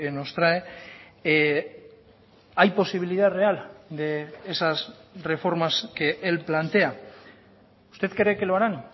nos trae hay posibilidad real de esas reformas que él plantea usted cree que lo harán